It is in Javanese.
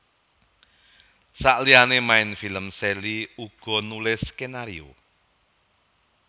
Saliyané main film Sally uga nulis skenario